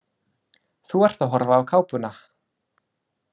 Þú ert að horfa á kápuna.